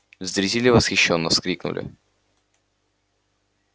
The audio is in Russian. зрители восхищённо вскрикнули